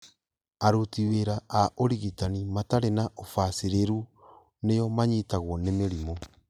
aruti wĩra a ũrigitani matarĩ na ũbacĩrĩru nĩo manyitagwo nĩ mĩrimũ